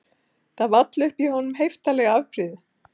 Það vall upp í honum heiftarleg afbrýði